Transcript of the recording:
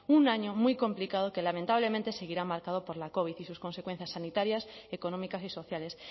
un año muy complicado que lamentablemente seguirá marcado por la covid y sus consecuencias sanitarias económicas y sociales